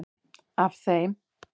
Af þeim